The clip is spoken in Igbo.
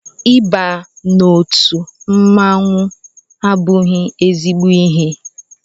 Ị ba n'otu mmọnwụ abụghị ezigbo ihe